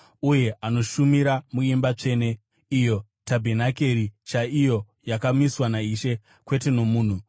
uye anoshumira muimba tsvene, iyo tabhenakeri chaiyo yakamiswa naIshe, kwete nomunhu.